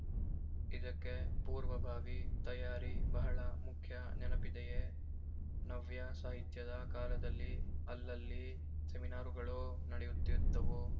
ಇದಕ್ಕೆ ಪೂರ್ವಭಾವಿ ತಯಾರಿ ಬಹಳ ಮುಖ್ಯ ನೆನಪಿದೆಯೆ ನವ್ಯ ಸಾಹಿತ್ಯದ ಕಾಲದಲ್ಲಿ ಅಲ್ಲಲ್ಲಿ ಸೆಮಿನಾರುಗಳು ನಡೆಯುತ್ತಿದ್ದುವು